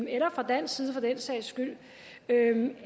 eller fra dansk side for den sags skyld